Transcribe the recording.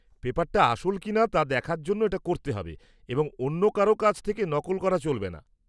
পেপার-টা আসল কিনা তা দেখার জন্য এটা করতে হবে এবং অন্য কারও কাজ থেকে নকল করা চলবে না।